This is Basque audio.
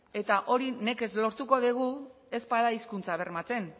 eta hori nekez lortuko dugu ez bada hizkuntza bermatzen